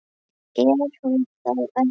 Er hún þá ekki?